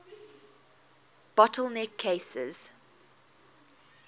bottle neck cases